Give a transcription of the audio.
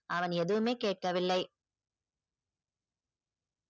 அவன் எதுவுமே கேட்கவில்லை.